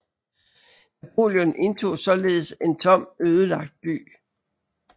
Napoleon indtog således en tom ødelagt by